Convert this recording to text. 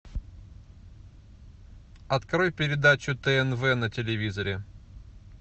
открой передачу тнв на телевизоре